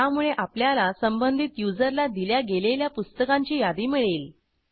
त्यामुळे आपल्याला संबंधित युजरला दिल्या गेलेल्या पुस्तकांची यादी मिळेल